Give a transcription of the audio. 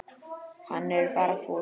Hann er bara fúll.